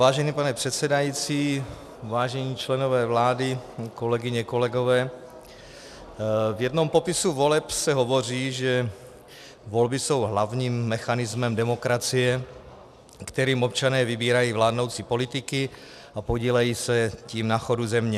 Vážený pane předsedající, vážení členové vlády, kolegyně, kolegové, v jednom popisu voleb se hovoří, že volby jsou hlavním mechanismem demokracie, kterým občané vybírají vládnoucí politiky a podílejí se tím na chodu země.